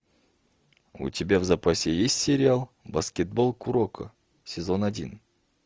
у тебя в запасе есть сериал баскетбол куроко сезон один